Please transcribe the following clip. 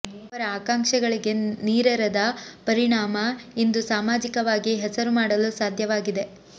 ಅವರ ಆಕಾಂಕ್ಷೆಗಳಿಗೆ ನೀರೆರೆದ ಪರಿಣಾಮ ಇಂದು ಸಾಮಾಜಿಕವಾಗಿ ಹೆಸರು ಮಾಡಲು ಸಾಧ್ಯವಾಗಿದೆ